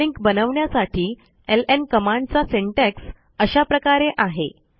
hard link बनवण्यासाठी LN कमांडचा syntax अशा प्रकारे आहे